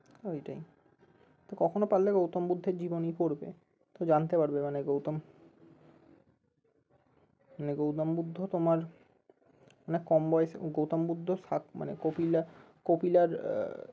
ওইটাই তো কখনো পারলে গৌতম বুদ্ধের জীবনী পোড়বে so জানতে পারবে মানে গৌতম মানে গৌতম বুদ্ধ তোমার অনেক কম বয়সে গৌতম বুদ্ধ সাত মানে কপিলা~কপিলার আহ